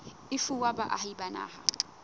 e fuwa baahi ba naha